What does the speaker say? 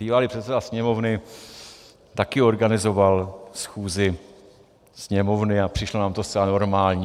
Bývalý předseda Sněmovny také organizoval schůzi Sněmovny a přišlo nám to zcela normální.